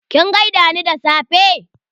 Kin gaida ni da safe?